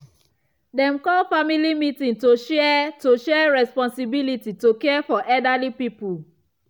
dem call family meeting to share to share responsibility to care for elderly people.